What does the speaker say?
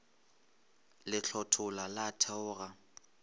le hlothola la theoga a